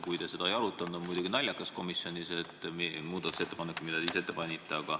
Kui te seda ei arutanud, siis see on muidugi naljakas – komisjonis ei arutata muudatusettepanekut, mille te ise ette panite.